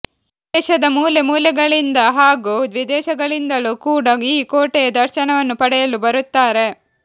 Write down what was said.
ದೇಶದ ಮೂಲೆ ಮೂಲೆಗಳಿಂದ ಹಾಗೂ ವಿದೇಶಗಳಿಂದಲೂ ಕೂಡ ಈ ಕೋಟೆಯ ದರ್ಶನವನ್ನು ಪಡೆಯಲು ಬರುತ್ತಾರೆ